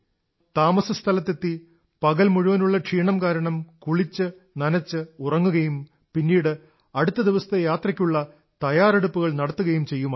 താമസസ്ഥലത്തെത്തി പകൽ മുഴുവനുള്ള ക്ഷീണം കാരണം നനച്ച് കുളിച്ച് ഉറങ്ങുകയും പിന്നീട് അടുത്ത ദിവസത്തെ യാത്രയ്ക്കുള്ള തയ്യാറെടുപ്പുകൾ നടത്തുകയും ചെയ്യുമായിരുന്നു